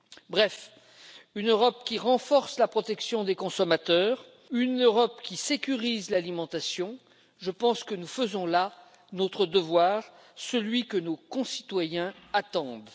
Bref, une Europe qui renforce la protection des consommateurs, une Europe qui sécurise l'alimentation, je pense que nous faisons là notre devoir, celui que nos concitoyens attendent.